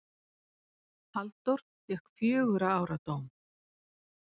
Halldór fékk fjögurra ára dóm.